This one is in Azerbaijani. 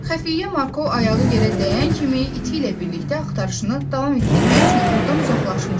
Xəfiyyə Marko ayağı yerə dəyən kimi iti ilə birlikdə axtarışını davam etdirmək üçün ordan uzaqlaşmışdı.